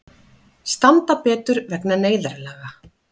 Standa betur vegna neyðarlaga